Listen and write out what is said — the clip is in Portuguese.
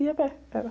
Ia a pé, era